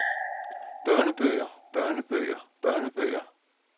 børnebøger børnebøger børnebøger